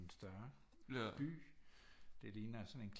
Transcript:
En større by det ligner sådan en